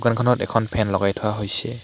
দোকানখনত এখন ফেন লগাই থোৱা হৈছে।